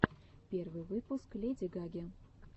первый выпуск леди гаги